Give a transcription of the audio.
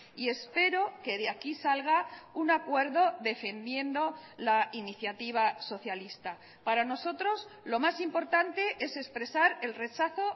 y espero que de aquí salga un acuerdo defendiendo la iniciativa socialista para nosotros lo más importante es expresar el rechazo